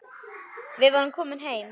Við vorum komin heim.